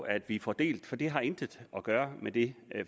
at vi får delt for det har intet at gøre med det